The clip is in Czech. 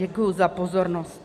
Děkuji za pozornost.